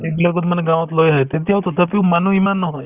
এইবিলাকত মানে গাঁৱত লৈ আহে তেতিয়াও তথাপিও মানুহ ইমান নহয়